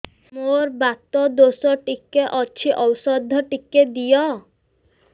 ମୋର୍ ବାତ ଦୋଷ ଟିକେ ଅଛି ଔଷଧ ଟିକେ ଦିଅ